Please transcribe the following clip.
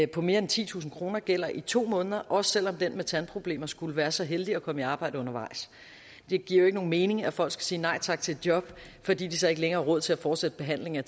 på mere end titusind kroner gælder i to måneder også selv om den pågældende med tandproblemer skulle være så heldig at komme i arbejde undervejs det giver jo ikke nogen mening at folk skal sige nej tak til et job fordi de så ikke længere har råd til at fortsætte behandlingen af